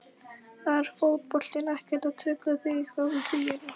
Var fótboltinn ekkert að trufla þig þá í fríinu?